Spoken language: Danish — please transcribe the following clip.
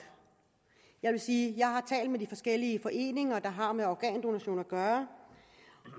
jeg vil sige at jeg har talt med de forskellige foreninger der har med organdonation at gøre